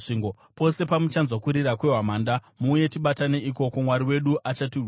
Pose pamuchanzwa kurira kwehwamanda, muuye tibatane ikoko. Mwari wedu achatirwira.”